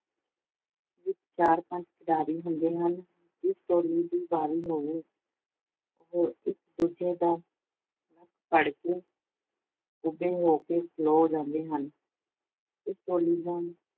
ਵਿੱਚ ਚਾਰ-ਪੰਜ ਖਿਡਾਰੀ ਹੁੰਦੇ ਹਨ। ਜਿਸ ਟੋਲੀ ਦੀ ਵਾਰੀ ਹੋਵੇ ਉਹ ਇੱਕ-ਦੂਜੇ ਦਾ ਨੱਕ ਫੜ ਕੇ ਕੁੱਬੇ ਹੋ ਕੇ ਖਲੋ ਜਾਂਦੇ ਹਨ। ਇਸ ਟੋਲੀ ਦਾ